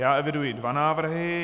Já eviduji dva návrhy.